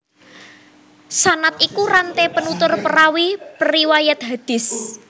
Sanad iku ranté penutur perawi periwayat hadis